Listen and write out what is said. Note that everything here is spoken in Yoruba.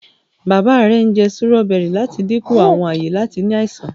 bàbá rẹ njẹ Sírọ́bẹ́rì lati dínkù Àwọn aye àti ní àìsàn.